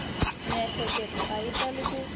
miehleketo a yi tali ku